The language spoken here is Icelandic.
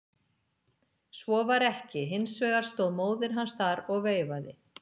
Svo var ekki, hins vegar stóð móðir hans þar og veifaði.